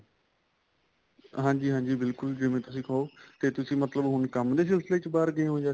ਹਾਂਜੀ ਹਾਂਜੀ ਬਿਲਕੁਲ ਜਿਵੇਂ ਤੁਸੀਂ ਕਹੋ ਤੇ ਤੁਸੀਂ ਮਤਲਬ ਹੁਣ ਕੰਮ ਦੇ ਸਿਲਸਿਲੇ ਚ ਬਾਹਰ ਗਏ ਹੋ ਜਾਂ